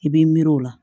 I b'i miiri o la